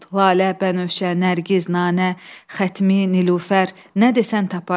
Lalə, Bənövşə, Nərgiz, Nanə, Xətmi, Nilufər, nə desən taparsan.